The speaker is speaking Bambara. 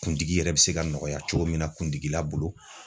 Kundigi yɛrɛ bɛ se ka nɔgɔya cogo min na kundigila bolo.